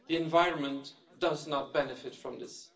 The environment does not benefit from this.